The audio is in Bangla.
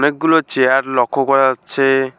অনেকগুলো চেয়ার লক্ষ্য করা যাচ্ছে।